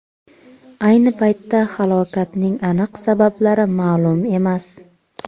Ayni paytda halokatning aniq sabablari ma’lum emas.